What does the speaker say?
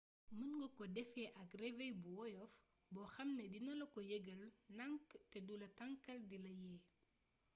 mën nga ko defee ak réveil bu woyof boo xam ni dina la ko yëgal ndank te dula tanqal dila la yee